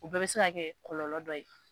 U bɛɛ bɛ se ka kɛ kɔlɔlɔ dɔ ye